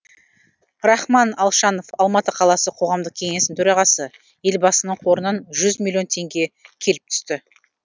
рахман алшанов алматы қаласы қоғамдық кеңесінің төрағасы елбасының қорынан жүз миллион теңге келіп түсті